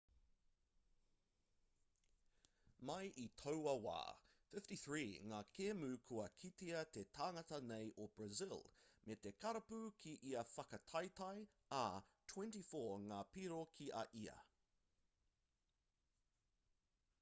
mai i taua wā 53 ngā kēmu kua kitea te tangata nei o brazil mā te karapu ki ia whakataetae ā 24 ngā piro ki a ia